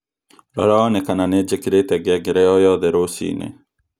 Rora wone kana nĩ njĩkirite ngengereo gĩothe rũcinĩ